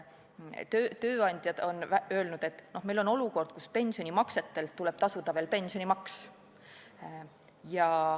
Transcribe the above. Tööandjad on öelnud, et see on olukord, kus pensionimaksetelt tuleb tasuda veel pensionimaksu.